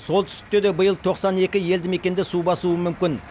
солтүстікте де биыл тоқсан екі елді мекенді су басуы мүмкін